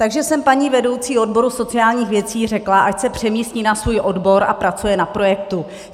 Takže jsem paní vedoucí odboru sociálních věcí řekla, ať se přemístí na svůj odbor a pracuje na projektu.